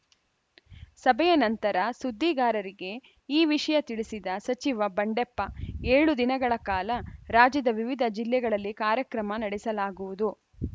ಸಭೆಯ ನಂತರ ಸುದ್ದಿಗಾರರಿಗೆ ಈ ವಿಷಯ ತಿಳಿಸಿದ ಸಚಿವ ಬಂಡೆಪ್ಪ ಏಳು ದಿನಗಳ ಕಾಲ ರಾಜ್ಯದ ವಿವಿಧ ಜಿಲ್ಲೆಗಳಲ್ಲಿ ಕಾರ್ಯಕ್ರಮ ನಡೆಸಲಾಗುವುದು